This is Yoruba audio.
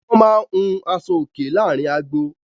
Wọ́n máa ń hun aṣọòkè láàárin agbo.